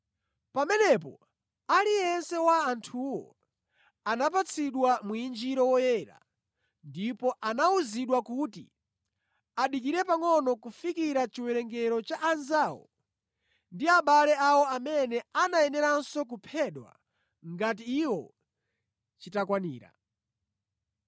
Pamenepo aliyense wa anthuwo anapatsidwa mwinjiro woyera ndipo anawuzidwa kuti adikire pangʼono kufikira chiwerengero cha anzawo ndi abale awo amene anayeneranso kuphedwa ngati iwo, chitakwanira.